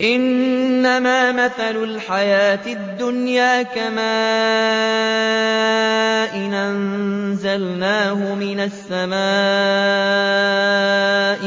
إِنَّمَا مَثَلُ الْحَيَاةِ الدُّنْيَا كَمَاءٍ أَنزَلْنَاهُ مِنَ السَّمَاءِ